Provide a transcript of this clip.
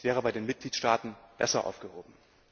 Es wäre bei den Mitgliedstaaten besser aufgehoben.